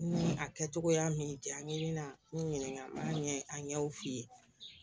Ni a kɛcogoya min janya n'i bɛna n ɲininka a ɲɛw f'i ye